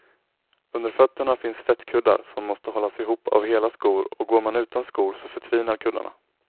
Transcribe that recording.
Under fötterna finns fettkuddar som måste hållas ihop av hela skor och går man utan skor så förtvinar kuddarna.